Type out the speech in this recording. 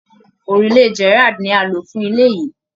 Òrùlé Gerrald ni a lò fún ilé yìí